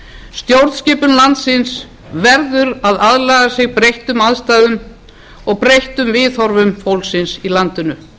stjórnskipun landsins verður að aðlaga sig breyttum aðstæðum og breyttum viðhorfum fólksins í landinu